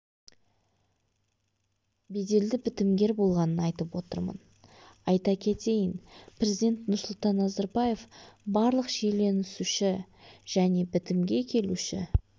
беделді бітімгер болғанын айтып отырмын айта кетейін президент нұрсұлтан назарбаев барлық шиеленісуші және бітімге келуші